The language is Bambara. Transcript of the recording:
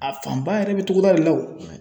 A fan ba yɛrɛ bɛ togoda de la o